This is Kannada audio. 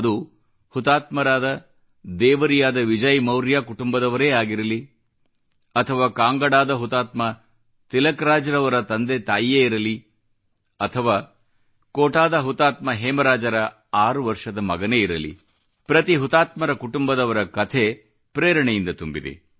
ಅದು ಹುತಾತ್ಮರಾದ ದೇವರಿಯಾದ ವಿಜಯ್ ಮೌರ್ಯಾ ಕುಟುಂಬದವರೇ ಆಗಿರಲಿ ಅಥವಾ ಕಾಂಗಡಾದ ಹುತಾತ್ಮ ತಿಲಕ್ ರಾಜ್ರವರ ತಂದೆ ತಾಯಿಯೇ ಇರಲಿ ಅಥವಾ ಕೋಟಾದ ಹುತಾತ್ಮ ಹೇಮರಾಜರ 6 ವರ್ಷದ ಮಗನೇ ಇರಲಿ ಪ್ರತಿ ಹುತಾತ್ಮರ ಕುಟುಂಬದವರ ಕಥೆ ಪ್ರೇರಣೆಯಿಂದ ತುಂಬಿದೆ